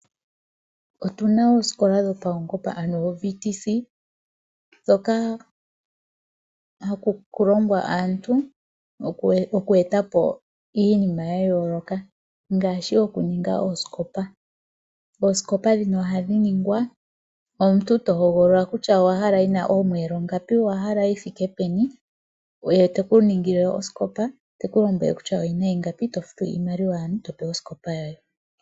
Otuna oosikola dhopaungomba ano oVTC ndhoka haku longwa aantu oku eta po iinima ya yooloka ngaashi oku ninga oosikopa. Oosikopa ndhino ohadhi ningwa omuntu to hogolola kutya owahala oyina omiyelo ngapi, kutya oyithike peni, ye teku ningile osikopa eteku lombwele kutya oyina iingapi eto futu iimaliwa yaantu opo wu pewe osikopa yoye.